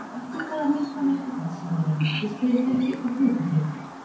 Einhvers staðar mitt á milli þess að vera ríkisfyrirtæki og hlutafélag?